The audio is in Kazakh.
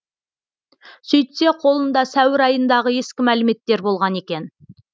сөйтсе қолында сәуір айындағы ескі мәліметтер болған екен